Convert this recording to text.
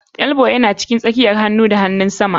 Elbow ya cikin tsakiyar hanu da hanunsama.